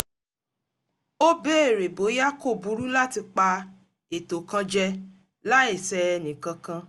ó bèèrè bóyá kò burú láti pa ètò kan jẹ láì ṣẹ ẹnìkankan